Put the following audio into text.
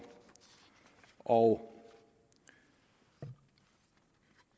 og og